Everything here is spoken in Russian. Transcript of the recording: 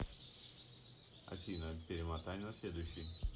афина перемотай на следующий